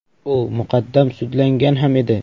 U muqaddam sudlangan ham edi.